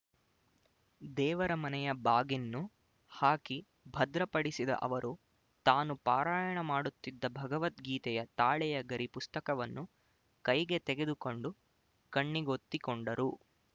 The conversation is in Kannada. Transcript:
ದೇವರ ಮನೆಯ ಬಾಗಿನ್ನು ಹಾಕಿ ಭದ್ರಪಡಿಸಿದ ಅವರು ತಾನು ಪಾರಾಯಣ ಮಾಡುತ್ತಿದ್ದ ಭಗವದ್ಗೀತೆಯ ತಾಳೆಯ ಗರಿ ಪುಸ್ತಕವನ್ನು ಕೈಗೆ ತೆಗೆದುಕೊಂಡು ಕಣ್ಣಿಗೊತ್ತಿಕೊಂಡರು